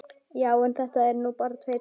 Já, en þetta eru nú bara tveir tímar.